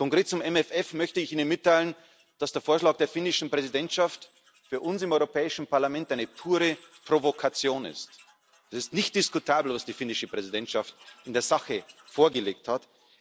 Und konkret zum MFR möchte ich Ihnen mitteilen, dass der Vorschlag der finnischen Präsidentschaft für uns im Europäischen Parlament eine pure Provokation ist. Es ist nicht diskutabel, was die finnische Präsidentschaft in der Sache vorgelegt hat.